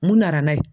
Mun nana n'a ye